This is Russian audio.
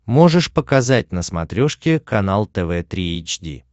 можешь показать на смотрешке канал тв три эйч ди